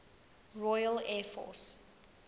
royal air force